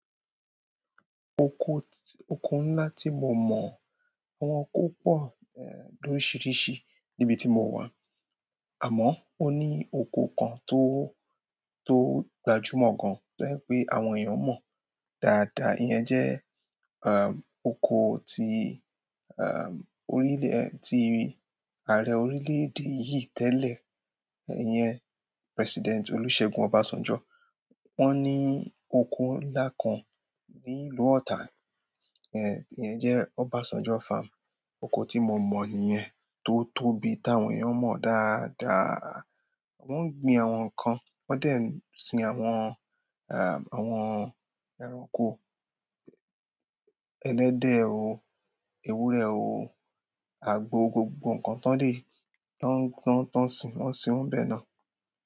Oko, oko ńlá tí mo mọ̀, àwọn oko pọ̀, loríṣiríṣi níbi tí mo wà. Àmọ́ ó ní oko kan tó, tó gbajúmọ̀ gan-an, tó jé pé àwọn èèyàn mọ̀ dáadáa. Oko yen jé oko ti ààre orílè èdè yíì télè, ìyen President Olúségun obásanjó. Wọ́n ní oko ńlá kan ní ìlú Ọ̀tà. Ìyẹn jẹ́ Obásanjó Farm. Oko tí mo mọ̀ nìyẹn tó tóbi tí àwọn èèyàn mọ̀ dáadáa. Wọ́n ń gbin àwọn ǹkan, wọ́n dẹ̀ ń sin àwọn, àwọn ẹranko, ẹlẹ́dẹ̀ o, ewúrẹ́ o, àgbò, gbogbo ǹkan tán lè. Tán, tán, tán sìn wọ́n sin wón n bẹ̀ náà.